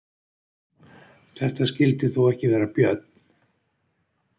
Þetta skyldi þó ekki vera björn?